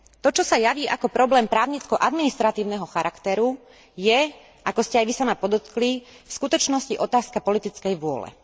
To, čo sa javí ako problém právnicko administratívneho charakteru je, ako ste aj vy sama podotkli, v skutočnosti otázka politickej vôle.